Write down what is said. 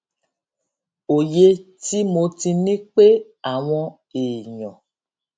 òye tí mo ti ní pé àwọn èèyàn